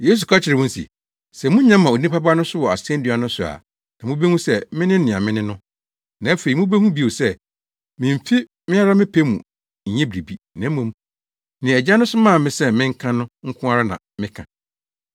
Yesu ka kyerɛɛ wɔn se, “Sɛ munya ma Onipa Ba no so wɔ asennua no so a na mubehu sɛ mene nea mene no, na afei mubehu bio sɛ mimfi me ara me pɛ mu nyɛ biribiara, na mmom nea Agya no somaa me sɛ menka no nko ara na meka.